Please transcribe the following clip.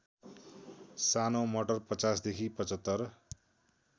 सानो मटर ५० देखि ७५